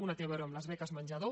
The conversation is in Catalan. una té a veure amb les beques menjador